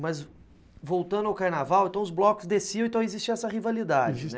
Mas voltando ao carnaval, os blocos desciam, então existia essa rivalidade.